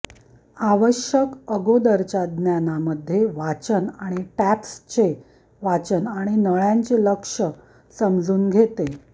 आवश्यक अगोदरच्या ज्ञानामध्ये वाचन आणि टॅप्सचे वाचन आणि नळ्यांचे लक्ष्य समजून घेते